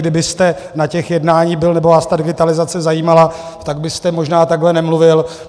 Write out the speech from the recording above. Kdybyste na těch jednáních byl nebo vás ta digitalizace zajímala, tak byste možná takhle nemluvil.